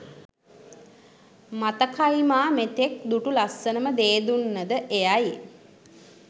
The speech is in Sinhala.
මතකයිමා මෙතෙක් දුටු ලස්සනම දේදුන්නද එයයි.